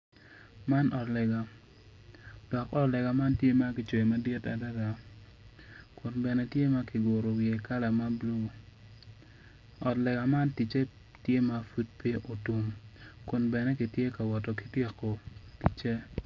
Puc man obuto piny kun puc man kala kome tye macol nicuc kun opero ite tye ka winyo jami. Puc man bene tye ka neno.